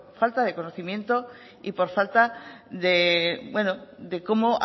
falta de conocimiento y por falta de cómo